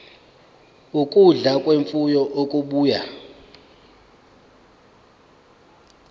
ukudla kwemfuyo okubuya